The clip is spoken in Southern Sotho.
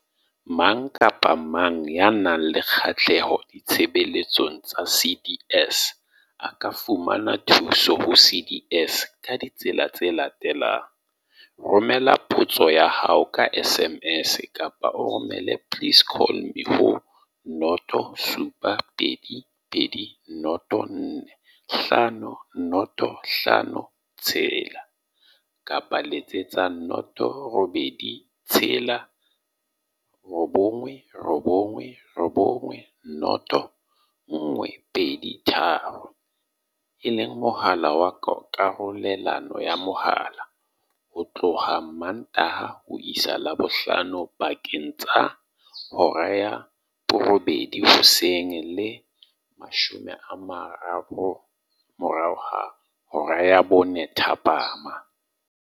Mang kapa mang ya nang le kgahleho ditshebeletsong tsa CDS a ka fumana thuso ho CDS ka ditsela tse latelang- Romela potso ya hao ka SMS kapa o romele 'please call me' ho 072 204 5056, kapa Letsetsa 086 999 0123, e leng mohala wa karolelano ya mohala, ho tloha Mmantaha ho isa Labohlano pakeng tsa 8:00 hoseng le 4:30 thapama.